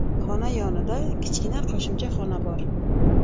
Xona yonida kichkina qo‘shimcha xona bor.